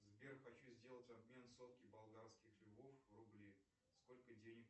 сбер хочу сделать обмен сотки болгарских львов в рубли сколько денег